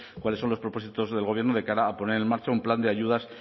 cuáles cuáles son los propósitos del gobierno de cara a poner en marcha un plan de ayudas